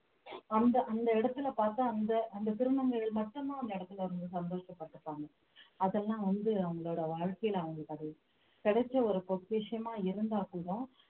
அந்த அந்த இடத்தில பார்த்தா அந்த அந்த திருமணங்கள் மட்டும்தான் அந்த இடத்தில வந்து சந்தோஷப்பட்டுப்பாங்க அதெல்லாம் வந்து அவங்களோட வாழ்க்கையில அவங்களுக்கு அது கிடைச்ச ஒரு பொக்கிஷமா இருந்தாக் கூட